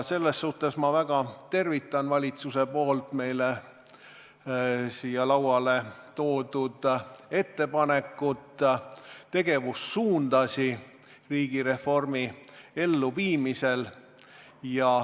Selles suhtes ma väga tervitan valitsuse poolt meile siia toodud ettepanekut, riigireformi elluviimise tegevussuundi.